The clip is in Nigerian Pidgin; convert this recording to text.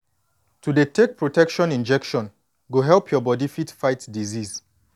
to dey take protection injection go help your body fit fight disease